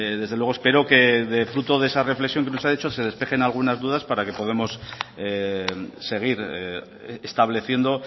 desde luego espero que fruto de esa reflexión que nos ha hecho se despejen algunas dudas para que podamos seguir estableciendo